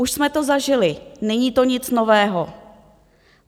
Už jsme to zažili, není to nic nového.